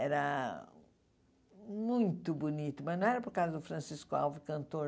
Era muito bonito, mas não era por causa do Francisco Alves, cantor.